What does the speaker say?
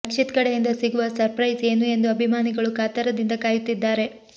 ರಕ್ಷಿತ್ ಕಡೆಯಿಂದ ಸಿಗುವ ಸರ್ಪ್ರೈಸ್ ಏನು ಎಂದು ಅಭಿಮಾನಿಗಳು ಕಾತರದಿಂದ ಕಾಯುತ್ತಿದ್ದಾರೆ